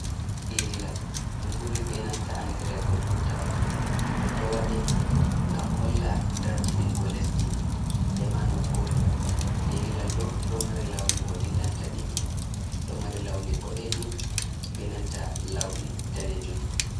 Ililal ɗum ɓuri be nanta andirego tutawal. & o waɗe ngam holla darjiɗingo lesdi e ma nokkure. ililal ɗo, ɗo mari lawni ko dillanta ɗiɗi ɗo mari lawni boɗejum be nanta lawni danejum.